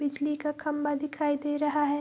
बिजली का खम्बा दिखाई दे रहा है।